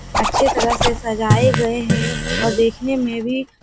अच्छे तरह से सजाए गए हैं और देखने में भी--